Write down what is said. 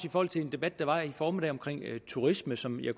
i forhold til en debat der var i formiddag om turisme som jeg